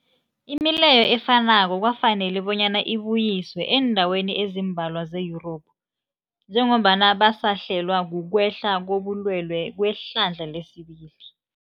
Imileyo efanako kwafanela bonyana ibuyiswe eendaweni ezimbalwa ze-Yurophu njengombana basahlelwa, kukwehla kobulwele kwehlandla lesibili.